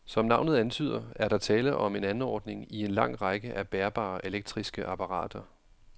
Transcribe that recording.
Som navnet antyder, er der tale om en anordning i en lang række af bærbare elektriske apparater.